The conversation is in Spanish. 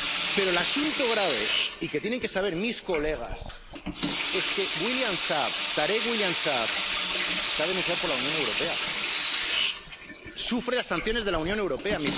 Pero el asunto grave y que tienen que saber mis colegas es que Tarek William Saab está denunciado por la Unión Europea, sufre las sanciones de la Unión Europea.